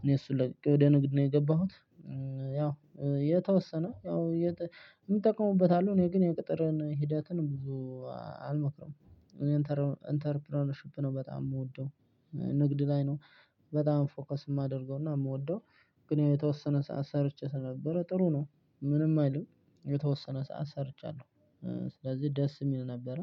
እኔ እሱን ለቅቄ ወደ ንግድ ነው የገባሁት። ያው የተወሰነ ያው የሚጠቀሙበት አሉ እኔ ግን የቅጥርን ሂደትን ብዙ አልመክርም። እኔን ኢንተርፕረነርሺፕ ነው በጣም የምወደው። ንግድ ላይ ነው በጣም ፎከስ የማደርገው እና የምወደው። ግን የተወሰነ ሰዓት ሰርቼ ስለነበረ ጥሩ ነው። ምንም አይልም የተወሰነ ሰዓት ሰርቻለሁ። ስለዚህ ደስ የሚል ነበረ